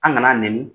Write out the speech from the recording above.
An kana nɛni